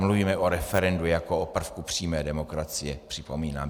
Mluvíme o referendu jako o prvku přímé demokracie, připomínám.